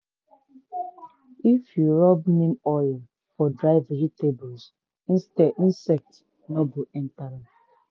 if you rub oil for dry vegetables insect no go near am.